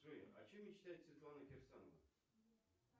джой о чем мечтает светлана кирсанова